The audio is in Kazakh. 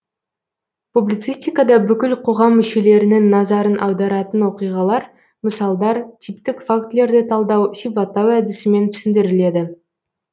публицистика да бүкіл қоғам мүшелерінің назарын аударатын оқиғалар мысалдар типтік фактілерді талдау сипаттау әдісімен түсіндіріледі